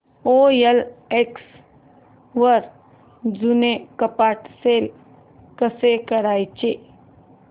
OLX वर जुनं कपाट सेल कसं करायचं